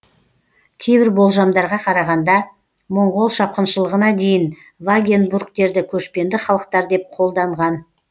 кейбір болжамдарға қарағанда моңғол шапқыншылығына дейін вагенбургтерді көшпенді халықтар деп қолданған